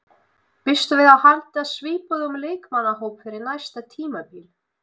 Býstu við að halda svipuðum leikmannahóp fyrir næsta tímabil?